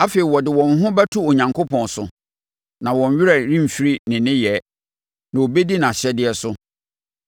Afei wɔde wɔn ho bɛto Onyankopɔn so, na wɔn werɛ remfiri ne nneyɛɛ, na wɔbɛdi nʼahyɛdeɛ so.